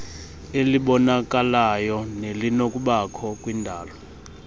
elibonakalayo nelinokubakho kwindalo